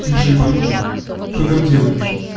ты же ебанутый что там делаешь